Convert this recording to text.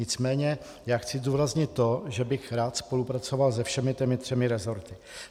Nicméně já chci zdůraznit to, že bych rád spolupracoval se všemi těmi třemi resorty.